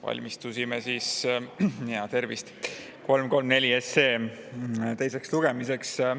Valmistusime 334 SE teiseks lugemiseks.